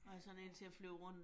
Ja